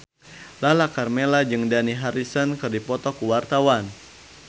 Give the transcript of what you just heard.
Lala Karmela jeung Dani Harrison keur dipoto ku wartawan